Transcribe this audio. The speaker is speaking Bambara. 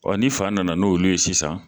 Ɔɔ ni fa nana n'olu ye sisan